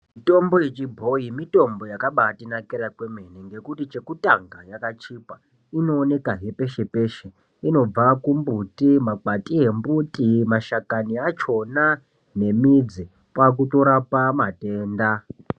Mitombo yechibhoyi mitombo yakabaitinakira kwemene ngekuti chekutanga yakachipa, inoonekahe peshe peshe , inobva kumbuti , makwati embuti, mashakani achona nemidzi. Kwakutorapa matenda.